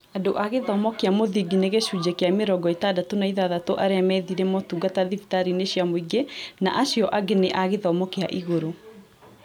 Andũ a gĩthomo kĩa mũthingi nĩ gĩcunjĩ kĩa mĩrongo ĩtandatũ na ithathatũ arĩa methire motungata thibitarĩ inĩ cia mũingĩ na acĩo angĩ nĩ a gĩthomo kĩa igũrũ